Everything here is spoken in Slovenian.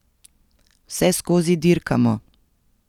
Vseskozi dirkamo.